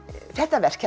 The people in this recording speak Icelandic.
þetta verk